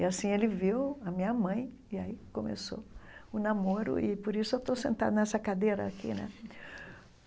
E assim ele viu a minha mãe e aí começou o namoro e por isso eu estou sentada nessa cadeira aqui, né?